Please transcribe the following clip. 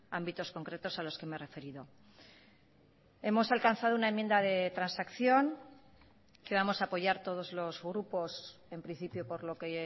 ámbitos concretos a los que me he referido hemos alcanzado una enmienda de transacción que vamos a apoyar todos los grupos en principio por lo que